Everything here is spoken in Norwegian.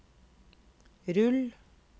rull